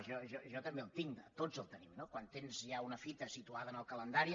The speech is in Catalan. jo també el tinc tots el tenim no quan tens ja una fita situada en el calendari